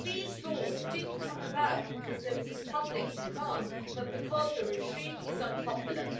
These laws didn't come about because there was a public demand for them but because the regime is unpopular.